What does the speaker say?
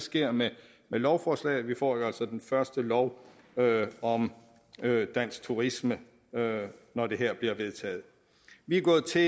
sker med lovforslaget her vi får jo altså den første lov om dansk turisme når det her bliver vedtaget vi er gået til